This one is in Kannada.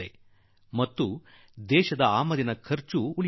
ಜೊತೆಗೆ ದೇಶಕ್ಕೆ ಟಿಂಬರು ಆಮದು ಮಾಡಿಕೊಳ್ಳುವುದೂ ತಪ್ಪುತ್ತದೆ